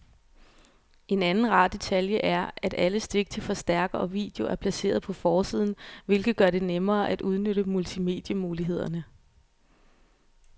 En anden rar detalje er, at alle stik til forstærker og video er placeret på forsiden, hvilket gør det nemmere at udnytte multimedie-mulighederne.